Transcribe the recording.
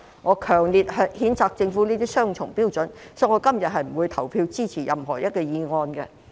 我強烈譴責政府持雙重標準，所以我今天不會投票支持議案。